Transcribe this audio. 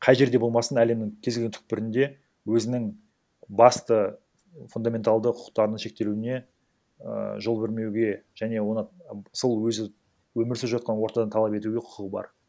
қай жерде болмасын әлемнің кез келген түпкірінде өзінің басты фундаменталды құқықтарының шектелуіне і жол бермеуге және оны сол өзі өмір сүріп жатқан ортадан талап етуге құқығы бар